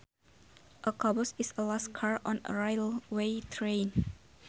A caboose is the last car on a railway train